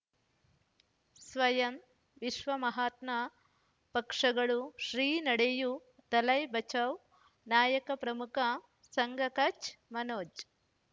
ಸ್ವಯಂ ವಿಶ್ವ ಮಹಾತ್ಮ ಪಕ್ಷಗಳು ಶ್ರೀ ನಡೆಯೂ ದಲೈ ಬಚೌ ನಾಯಕ ಪ್ರಮುಖ ಸಂಘ ಕಚ್ ಮನೋಜ್